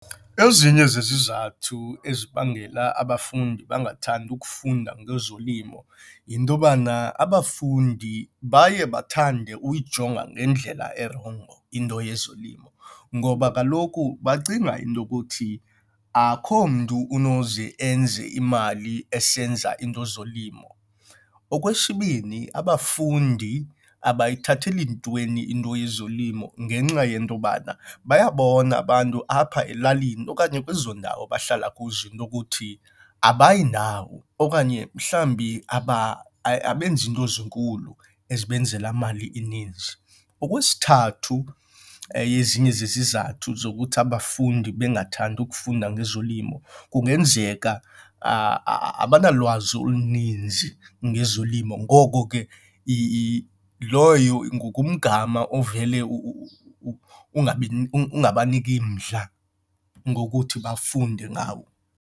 Ezinye zezizathu ezibangela abafundi bangathandi ukufunda ngezolimo yinto yobana abafundi baye bathande uyijonga ngendlela erongo into yezolimo, ngoba kaloku bacinga into ukuthi akuho mntu unoze enze imali esenza iinto zolimo. Okwesibini abafundi abayithatheli ntweni into yezolimo ngenxa yento yobana bayabona abantu apha elalini okanye kwezo ndawo bahlala kuzo into ukuthi abayi ndawo okanye mhlawumbi abenzi into zinkulu ezisebenzela mali ininzi. Okwesithathu, eyezinye zezizathu zokuthi abafundi bengakuthandi ukufunda ngezolimo kungenzeka abanalwazi oluninzi ngezolimo ngoko ke loyo ngumgama ovele ungabaniki mdla ngokuthi bafunde ngawo.